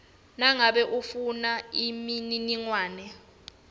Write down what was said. nangabe ufuna imininingwane